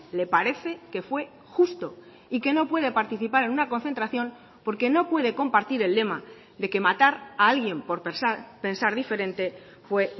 le parece que fue justo y que no puede participar en una concentración porque no puede compartir el lema de que matar a alguien por pensar diferente fue